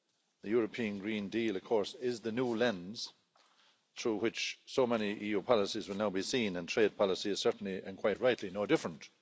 The European Green Deal, of course, is the new lens through which so many EU policies will now be seen, and trade policy is certainly, and quite rightly, no different.